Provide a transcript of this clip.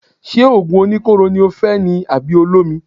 Ṣé òògùn oníkóró ni o fẹ́ ni àbí olómi.